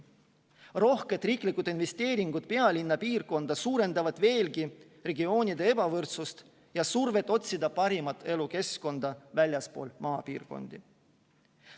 Rohked riiklikud investeeringud pealinna piirkonda suurendavad veelgi regioonide ebavõrdsust ja survet otsida paremat elukeskkonda väljaspool maapiirkondi.